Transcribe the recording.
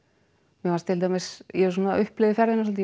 mér fannst til dæmis ég svona upplifði ferðina svolítið